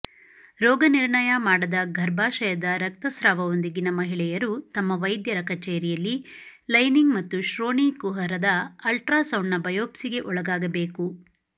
ರೋಗನಿರ್ಣಯ ಮಾಡದ ಗರ್ಭಾಶಯದ ರಕ್ತಸ್ರಾವದೊಂದಿಗಿನ ಮಹಿಳೆಯರು ತಮ್ಮ ವೈದ್ಯರ ಕಚೇರಿಯಲ್ಲಿ ಲೈನಿಂಗ್ ಮತ್ತು ಶ್ರೋಣಿ ಕುಹರದ ಅಲ್ಟ್ರಾಸೌಂಡ್ನ ಬಯೋಪ್ಸಿಗೆ ಒಳಗಾಗಬೇಕು